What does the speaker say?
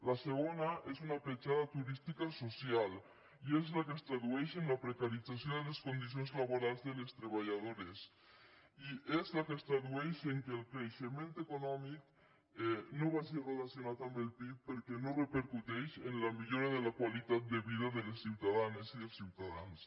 la segona és una petjada turística social i és la que es tradueix en la precarització de les condicions laborals de les treballadores i és la que es tradueix en el fet que el creixement econòmic no vagi relacionat amb el pib perquè no repercuteix en la millora de la qualitat de vida de les ciutadanes i dels ciutadans